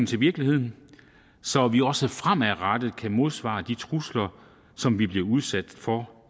til virkeligheden så vi også fremadrettet kan modsvare de trusler som vi bliver udsat for